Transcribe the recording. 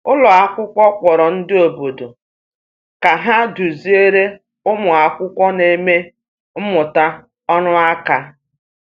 Ụlọ akwụkwọ kpọrọ ndị obodo ka ha duziere ụmụ akwụkwọ na-eme mmụta ọrụ aka.